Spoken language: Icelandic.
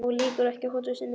En lýkur ekki hótun sinni.